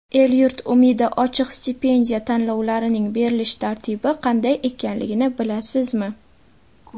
"El-yurt umidi" ochiq stipendiya tanlovlarining berilish tartibi qanday ekanligini bilasizmi?.